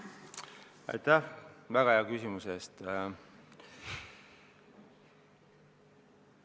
Aitäh väga hea küsimuse eest!